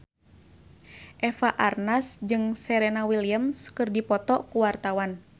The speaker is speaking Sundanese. Eva Arnaz jeung Serena Williams keur dipoto ku wartawan